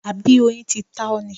Àbí oyin ti ta ọ́ ni?